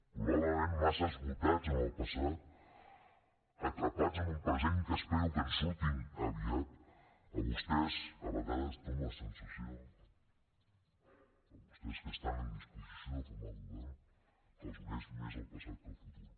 probablement massa esgotats en el passat atrapats en un present que espero que en surtin aviat a vostès a vegades dona la sensació a vostès que estan en disposició de formar govern que els uneix més el passat que el futur